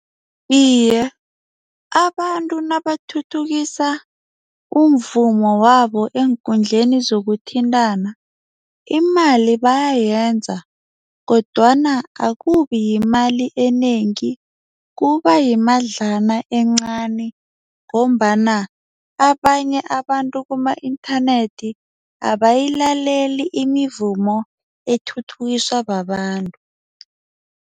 Iye, abantu nabathuthukisa umvumo wabo eenkundleni zokuthintana. Imali bayayenza kodwana akubiyimali enengi kuba yimadlana encani ngombana abanye abantu kuma-internet abayilaleli imivumo ethuthukiswa babantu.